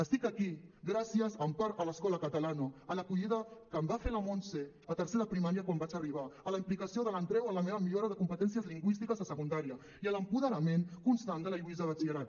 estic aquí gràcies en part a l’escola catalana a l’acollida que em va fer la montse a tercer de primària quan vaig arribar a la implicació de l’andreu en la meva millora de competències lingüístiques a secundària i a l’apoderament constant de la lluïsa a batxillerat